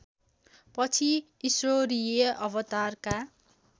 पछि ईश्वरीय अवतारका